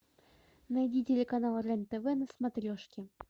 найди телеканал рен тв на смотрешке